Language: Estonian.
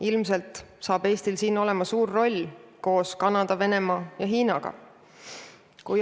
Ilmselt saab siin Eestil olema suur roll koos Kanada, Venemaa ja Hiinaga.